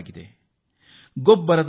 ಯಾಗಿ ಬಳಕೆ ಮಾಡಬಹುದಾಗಿದೆ